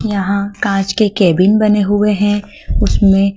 यहां कांच के केबिन बने हुए हैं उसमें--